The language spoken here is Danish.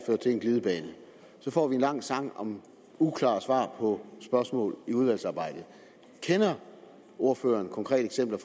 ført til en glidebane så får vi en lang sang om uklare svar på spørgsmål i udvalgsarbejdet kender ordføreren konkrete eksempler